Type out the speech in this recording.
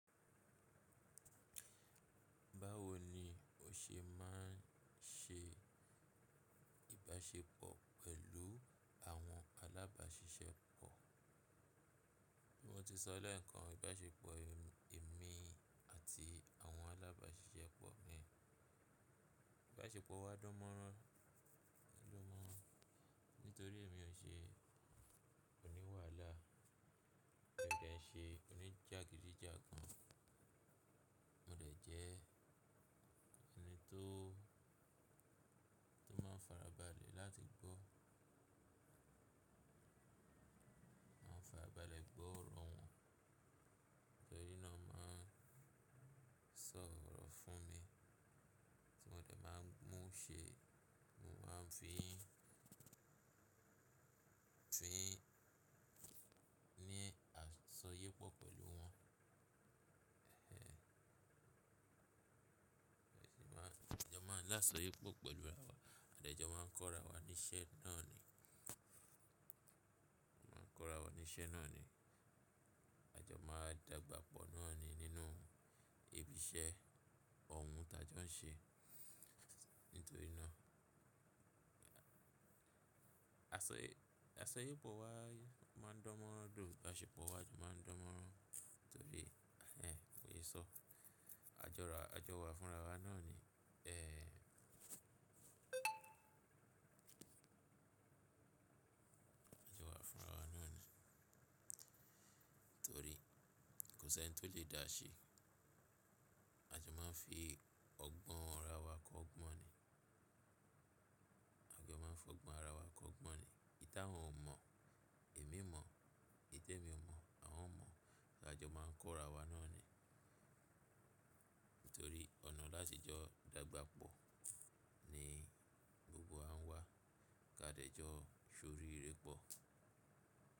Báwo ni o ṣe máa ń ṣe ìbáṣepọ̀ pẹ̀lú àwọn alábàáṣiṣẹ́ pọ̀? Bí mo ti sọ lẹ́ẹ̀kan, ìbáṣepọ̀ èmi àti àwọn alábàáṣiṣẹ́ pọ̀ ni. Ìbáṣepọ̀ wa dán mọ́rán moran, nítorí èmi ò ṣe oníwàlá, mo dẹ̀ ṣe oníjàgídíjàgan, mo dẹ̀ jẹ́ ẹni tó máa ń farabalẹ̀ láti gbọ́ mo n farabalẹ̀ gbọ́ ọ̀rọ̀ wọn. Enìí náà máa ń sọ ọ̀rọ̀ fún mi tí mo dẹ̀ máa ń mú ṣe, mo máa ń fi ní àjosọyépọ̀ pẹ̀lú wọn. Ajo máa ń lásọyépọ̀ pẹ̀lú ara wa, a jẹ́ máa ń kọ́ ara wa ní iṣẹ́ náà ni. A máa ń kọ́ ara wa ní iṣẹ́ náà ni, a jọ máa dagbàpọ̀ náà ni nínú ibi iṣẹ́ òhun tá jọ ń ṣe. Nítorí náà, àsọyépọ̀ wa máa ń dán mọ́rán ju ìbáṣepọ̀ wa jọ máa ń dán mọ́rán, torí kò lè sọ. A jọ wà fún ara wa náà ni, A jọ wà fún ara wa náà ni, torí kò sí ẹni tó lè dáa ṣe. A jọ máa ń fi ọgbọ́n ara wa kọ́ ọgbọ́n ni. A jọ máa ń fi ọgbọ́n ara wa kọ́ ọgbọ́n ni. Íta wọn ò mọ̀, èmi mọ̀, n tẹ́ mi ò mọ̀, àwọn mọ̀, ka jọ máa ń kọ́ ara wa náà ni? Nítorí ọ̀nà láti jọ dagbàpọ̀ ni gbogbo wa ń wá, ká dẹ́ jọ ṣorí ìré pọ̀.